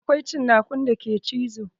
Akwai cinakun da ke cizo